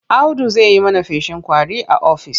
Audu zai yi mana feshin ƙwari a ofis.